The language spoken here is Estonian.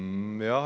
Aitäh!